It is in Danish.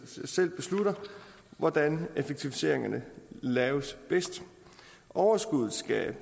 beslutter hvordan effektiviseringerne laves bedst overskuddet skal